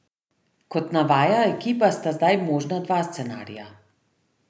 Kot navaja Ekipa, sta zdaj možna dva scenarija.